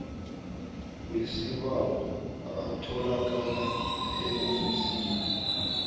wesibawo atholakala eofisini